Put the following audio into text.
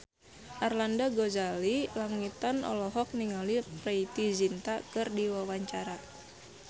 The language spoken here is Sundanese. Arlanda Ghazali Langitan olohok ningali Preity Zinta keur diwawancara